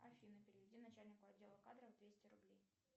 афина переведи начальнику отдела кадров двести рублей